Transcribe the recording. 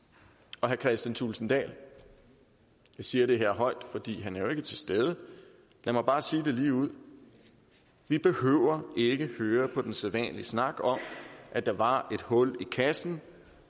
herre kristian thulesen dahl jeg siger det her højt fordi han jo ikke er til stede lad mig bare sige det ligeud vi behøver ikke høre på den sædvanlige snak om at der var et hul i kassen